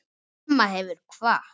Mamma hefur kvatt.